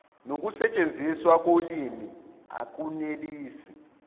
nokusetshenziswa kolimi akunelisi